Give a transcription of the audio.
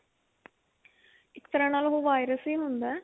ਇੱਕ ਤਰ੍ਹਾਂ ਨਾਲ ਉਹ virus ਹੀ ਹੁੰਦਾ